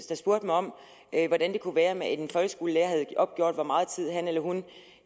der spurgte mig om hvordan det kunne være at en folkeskolelærer havde opgjort hvor meget tid han eller hun